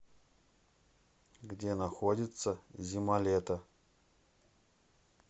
где находится зималето